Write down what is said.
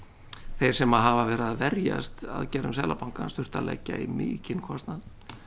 þeir sem hafa verið að verjast aðgerðum Seðlabankans þurft að leggja í mikinn kostnað